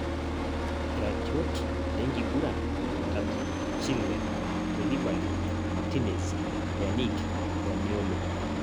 Iratiot lenkiguran Jumatatu; Chilwell, Koulibali, Martinez, Pjanic, Zaniolo